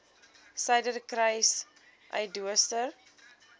suiderkruissuidooster